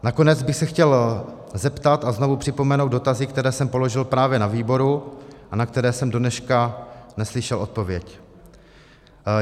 Nakonec bych se chtěl zeptat a znovu připomenout dotazy, které jsem položil právě na výboru a na které jsem dodnes neslyšel odpověď.